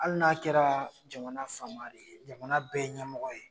Hali n'a kɛra jamana faama de ye , jamana bɛɛ ɲɛmɔgɔ ye